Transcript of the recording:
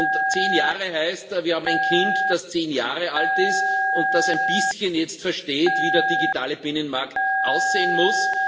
Und zehn Jahre heißt Wir haben ein Kind, das zehn Jahre alt ist und das jetzt ein bisschen versteht, wie der digitale Binnenmarkt aussehen muss.